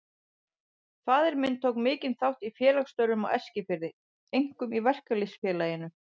Faðir minn tók mikinn þátt í félagsstörfum á Eskifirði, einkum í Verkalýðs- félaginu.